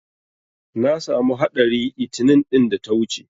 Na samu haɗari 'itinin ɗin da ta wuce.